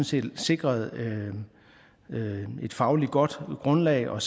set sikret et fagligt godt grundlag og